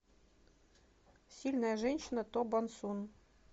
сильная женщина то бон сун